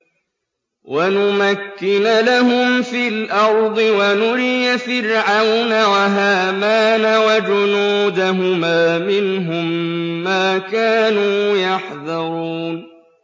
وَنُمَكِّنَ لَهُمْ فِي الْأَرْضِ وَنُرِيَ فِرْعَوْنَ وَهَامَانَ وَجُنُودَهُمَا مِنْهُم مَّا كَانُوا يَحْذَرُونَ